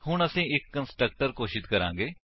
ਹੁਣ ਅਸੀ ਇੱਕ ਕੰਸਟਰਕਟਰ ਘੋਸ਼ਿਤ ਕਰਾਂਗੇ